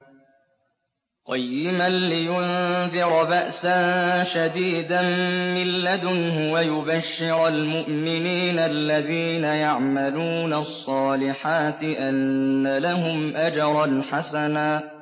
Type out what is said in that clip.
قَيِّمًا لِّيُنذِرَ بَأْسًا شَدِيدًا مِّن لَّدُنْهُ وَيُبَشِّرَ الْمُؤْمِنِينَ الَّذِينَ يَعْمَلُونَ الصَّالِحَاتِ أَنَّ لَهُمْ أَجْرًا حَسَنًا